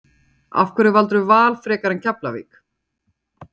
Af hverju valdirðu Val frekar en Keflavík?